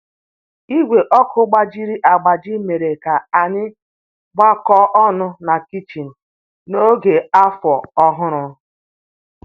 Igwe ọkụ gbajiri agbaji mere ka anyị gbakọọ ọnụ na kichin n'oge Afọ Ọhụrụ